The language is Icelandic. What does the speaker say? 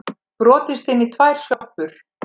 Brotist inn í tvær sjoppur